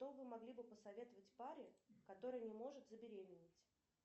что вы могли бы посоветовать паре которая не может забеременеть